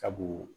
Sabu